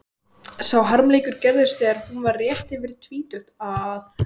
Sá harmleikur gerðist þegar hún var rétt yfir tvítugt að